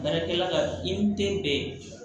Baarakɛla ka i n' te bɛn